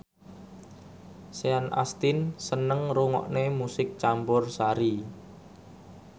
Sean Astin seneng ngrungokne musik campursari